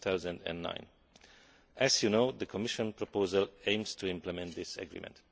2009. As you know, the Commission proposal aims to implement this agreement.